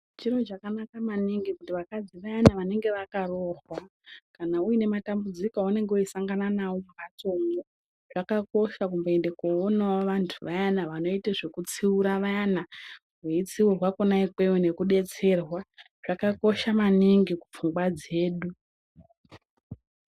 Chiro chakanaka maningi kuti vakadzi vayani vanenge vakaroorwa, kana uine matambudziko aunenge weisangano nawo mumhatso mwo, zvakakosha kumboende koonawo vantu vayana vanoite zvekutsiura vayana, weitsiurwa kwona ikweyo nekudetserwa, zvakakosha maningi kupfungwa dzedu.